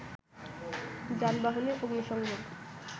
যানবাহনে অগ্নিসেংযোগ